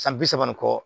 San bi saba ni kɔ